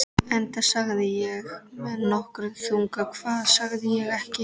Enda sagði ég með nokkrum þunga: Hvað sagði ég ekki?